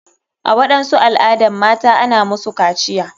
A waɗansu al adan mata ana musu kaciya.